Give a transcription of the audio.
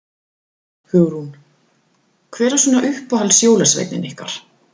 Hugrún: Hver er svona uppáhalds jólasveinninn ykkar?